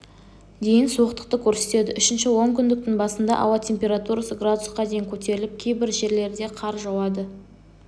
дейін суықтықты көрсетеді үшінші онкүндіктің басында ауа температурасы градусқа дейін көтеріліп кейбір жерлерде қар жауады